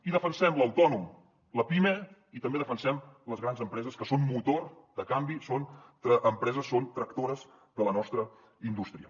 i defensem l’autònom la pime i també defensem les grans empreses que són motor de canvi són tractores de la nostra indústria